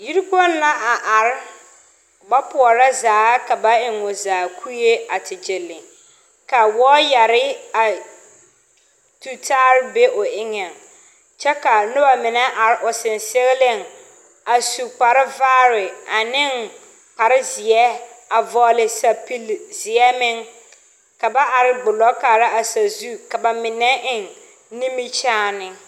Yikpoŋ la are ba pɔɔrɔ zaa ka ba eŋ o zaa kuree. Waayare be la o pʋɔ kyɛ ka noba are a sɔŋsɔgleŋ sɔgɔ a su kparevaare ane kparezeɛ kyɛ vɔgle sapilzeɛ meŋ. Ba kaara la sazu kyɛ ka ba mine eŋ nimikyaane